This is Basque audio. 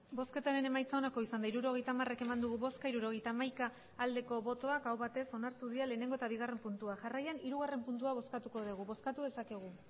hirurogeita hamar eman dugu bozka hirurogeita hamaika bai aho batez onartu dira lehenengo eta bigarren puntua jarraian hirugarren puntua bozkatuko dugu bozkatu dezakegu